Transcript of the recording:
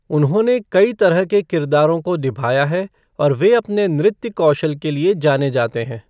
उन्होंने कई तरह के किरदारों को निभाया है और वे अपने नृत्य कौशल के लिए जाने जाते हैं।